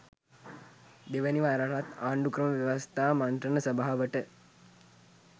දෙවැනි වරටත් ආණ්ඩු ක්‍රම ව්‍යවස්ථා මන්ත්‍රණ සභාවට